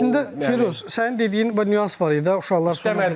Əslində Firuz, sənin dediyin bir nüans var idi, uşaqlar sonradan.